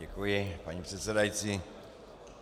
Děkuji, paní předsedající.